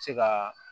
Se ka